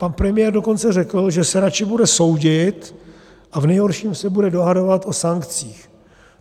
Pan premiér dokonce řekl, že se radši bude soudit a v nejhorším se bude dohadovat o sankcích.